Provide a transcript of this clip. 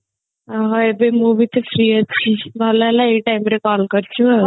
ଓ ହୋ ଏବେ ମୁଁ ବି ତ free ଅଛି ଭଲ ହେଲା ଏଇ time ରେ call କରିଛୁ ଆଉ